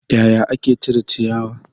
Yaya ake cire ciyawa?